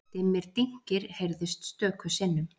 Dimmir dynkir heyrðust stöku sinnum.